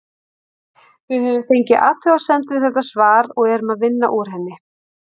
Við höfum fengið athugasemd við þetta svar og erum að vinna úr henni.